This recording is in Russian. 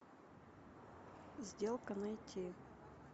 сделка найти